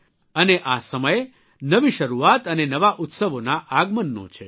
અને આ સમયે નવી શરૂઆત અને નવા ઉત્સવોના આગમનનો છે